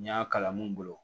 N y'a kala mun bolo